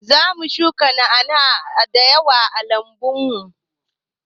Zamu shuka na'ana'a da yawa a lambun mu.